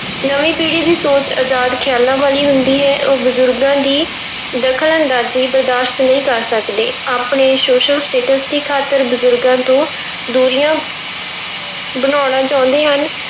ਨਵੀਂ ਪੀੜ੍ਹੀ ਦੀ ਸੋਚ ਅਜ਼ਾਦ ਖ਼ਿਆਲਾਂ ਵਾਲੀ ਹੁੰਦੀ ਹੈ, ਉਹ ਬਜ਼ੁਰਗਾਂ ਦੀ ਦਖ਼ਲ ਅੰਦਾਜ਼ੀ ਬਰਦਾਸ਼ਤ ਨਹੀਂ ਕਰ ਸਕਦੇ, ਆਪਣੇ social status ਦੀ ਖ਼ਾਤਰ ਬਜ਼ੁਰਗਾਂ ਤੋਂ ਦੂਰੀਆਂ ਬਣਾਉਣਾ ਚਾਹੁੰਦੇ ਹਨ।